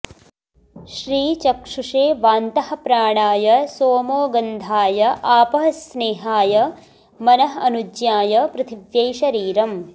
श्रीचक्षुषे वान्तः प्राणाय सोमो गन्धाय आपः स्नेहाय मनः अनुज्ञाय पृथिव्यै शरीरम्